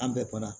An bɛɛ banna